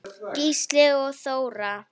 Gísli og Þóra.